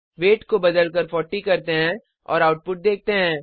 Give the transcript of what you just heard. wait को बदलकर 40 करते हैं और आउटपुट देखते हैं